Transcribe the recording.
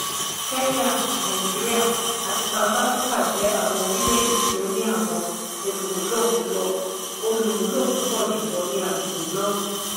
kenya nigeria àti south africa jẹ́ àwọn orilẹ-ède tí o ni àwọn olùmúlò púpọ jùlọ ní agbègbè náà.